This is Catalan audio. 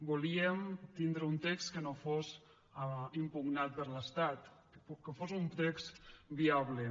volíem tindre un text que no fos impugnat per l’estat que fos un text viable